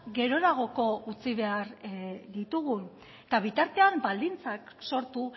geroragoko utzi behar ditugun eta bitartean baldintzak sortu